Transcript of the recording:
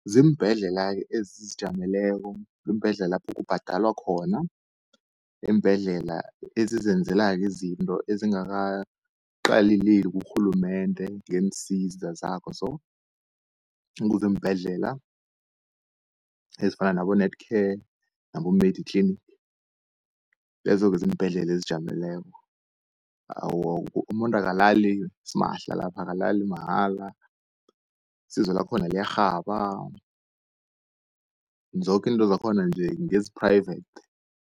Ziimbhedlela-ke ezizijameleko, ziimbhedlela lapho kubhadalwa khona, iimbhedlela ezizenzelako izinto, ezingakaqaleleli kurhulumende ngeensiza zakho so. Kuziimbhedlela ezifana nabo Netcare, nabo-Mediclinic lezo-ke ziimbhedlela ezizijameleko . Umuntu akalali simahla lapho, akalali mahala, isizo lakhona liyarhaba, zoke into zakhona nje ngezi private.